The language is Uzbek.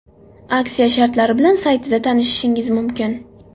Aksiya shartlari bilan saytida tanishishingiz mumkin.